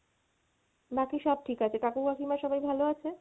বাকি সব ঠিক আছে, কাকু কাকিমা সবাই ভালো আছে?